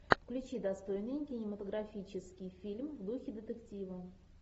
включи достойный кинематографический фильм в духе детектива